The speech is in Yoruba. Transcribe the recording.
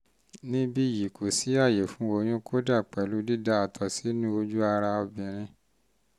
níbí yìí kò sí àyè fún oyún kódà pẹ̀lú dída àtọ̀ sínú ojú ara obìnrin